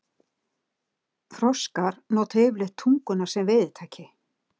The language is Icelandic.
Froskar nota yfirleitt tunguna sem veiðitæki.